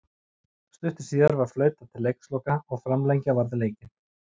Stuttu síðar var flautað til leiksloka og framlengja varð leikinn.